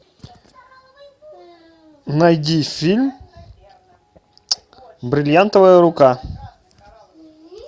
найди фильм бриллиантовая рука